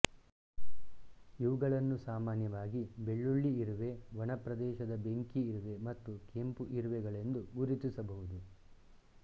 ಇವುಗಳನ್ನು ಸಾಮಾನ್ಯವಾಗಿ ಬೆಳ್ಳುಳ್ಳಿ ಇರುವೆ ಒಣ ಪ್ರದೇಶದ ಬೆಂಕಿ ಇರುವೆ ಮತ್ತು ಕೆಂಪು ಇರುವೆಗಳೆಂದು ಗುರುತಿಸಬಹುದು